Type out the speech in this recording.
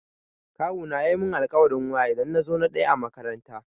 Kawuna ya mun alkawarin waya idan na zo na ɗaya a makaranta.